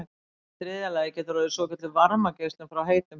í þriðja lagi getur orðið svokölluð varmageislun frá heitum hlut